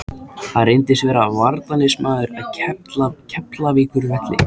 Hann reyndist vera varnarliðsmaður af Keflavíkurvelli.